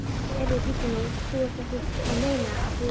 Heyrðu, bíddu nú. þú ert ekki að meina. að þú?